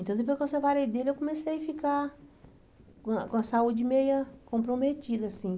Então, depois que eu separei dele, eu comecei a ficar com a com a saúde meia comprometida, assim.